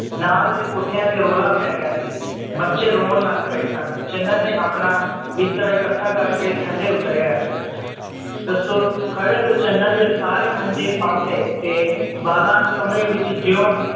ਨਾਲ ਦੇ ਕੋਠਿਆਂ ਦੇ ਰੌਲਾ ਪੈ ਗਯਾ ਸੀ ਬੱਚੇ ਰੋਂ ਲੱਗ ਪਏ ਸਨ ਚੰਨਨ ਨੇ ਆਪਣਾ ਬਿਸਤਰਾ ਇਕੱਠਾ ਕਰਕੇ ਥੱਲੇ ਉਤਰ ਆਇਆ ਦੱਸੋ ਖੜੇ ਹੋ ਕੇ ਚੰਨਨ ਨੇ ਸਾਰੇ ਮੰਜੇ ਫੜ ਲਏ ਤੇ ਬਾਲਾਂ ਨੂੰ ਕਮਰੇ ਵਿਚ ਜਯੋਂ